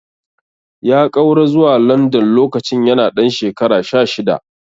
Ya ƙaura zuwa London lokacin yana ɗan shekara sha shida.